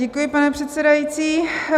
Děkuji, pane předsedající.